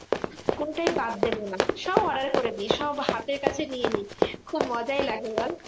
কোনোটাই বাদ দেব না সব order করে দিই। সব হাতের কাছে নিয়ে নিই, খুব মজাই লাগে বল?